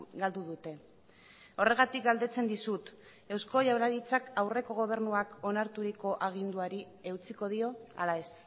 galdu dute horregatik galdetzen dizut eusko jaurlaritzak aurreko gobernuak onarturiko aginduari eutsiko dio ala ez